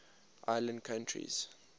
island countries